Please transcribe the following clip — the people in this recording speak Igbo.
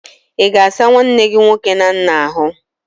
Ị ga-asa nwanne gi nwoke na nna ahụ?